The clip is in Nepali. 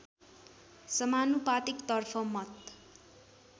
समानुपातिक तर्फ मत